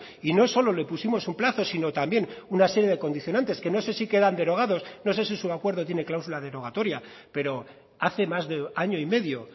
y no solo le pusimos un plazo sino también una serie de condicionantes que no sé si quedan derogados no sé si su acuerdo tiene cláusula derogatoria pero hace más de año y medio